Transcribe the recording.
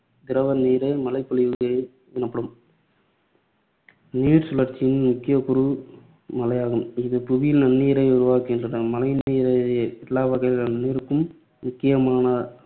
திரவ நீரே மழை பொழிவு என்படும். நீர்சுழற்சியின் முக்கிய கூறு மழையாகும். இது புவியில் நன்னீரை உருவாக்குகின்றன. மழைநீரே எல்லாவகையான நீருக்கும் முக்கியமான